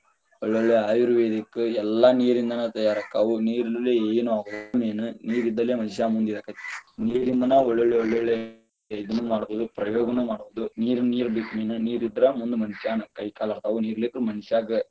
ಒಳ್ಳೊಳ್ಳೆ ayurvedic ಎಲ್ಲಾ ನೀರಿಂದನಾ ತಯಾರಾಕ್ಕವ ನೀರ ಇರುಲೆ ಏನ ಆಗುದಿಲ್ಲಾ, ನೀರ main ನೀರಿಂದಲೇ ಮನಿಷ್ಯಾ ಮುಂದ ಇರಾಕ ಆಕ್ಕೆತಿ, ನೀರಿಂದನಾ ಒಳ್ಳೊಳ್ಳೆ ಒಳ್ಳೊಳ್ಳೆ ಇದನ್ನು ಮಾಡಬಹುದು ನೀರ ಬೇಕ main ನೀರಿಂದ್ರನ ಮುಂದ ಮನಿಷ್ಯಾನ ಕೈ ಕಾಲ ಆಡತಾವ ನೀರ ಇರಲಿಕ್ಕರ ಮನಿಷ್ಯಾನ.